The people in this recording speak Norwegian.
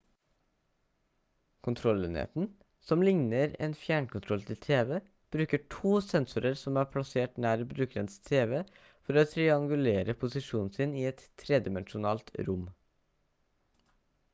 kontrollenheten som ligner en fjernkontroll til tv bruker to sensorer som er plassert nær brukerens tv for å triangulere posisjonen sin i et tredimensjonalt rom